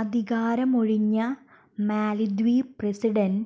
അധികാരമൊഴിഞ്ഞ Maldives president